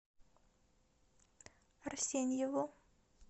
арсеньеву